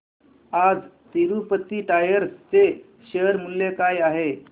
आज तिरूपती टायर्स चे शेअर मूल्य काय आहे